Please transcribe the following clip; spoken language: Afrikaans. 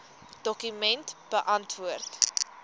dokument beantwoord